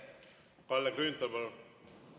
Kalle Grünthal, palun!